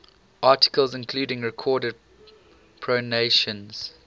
articles including recorded pronunciations